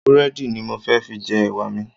Búrẹ́dì ni mo fẹ́ fi jẹ Ẹ̀wà mi.